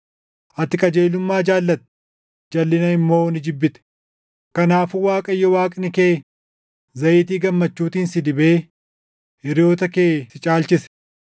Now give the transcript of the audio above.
Ati qajeelummaa jaallatte; jalʼina immoo ni jibbite; kanaafuu Waaqayyo Waaqni kee zayitii gammachuutiin si dibee, hiriyoota kee si caalchise.” + 1:9 \+xt Far 45:6,7\+xt*